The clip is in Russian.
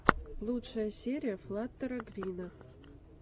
лучшая серия флаттера грина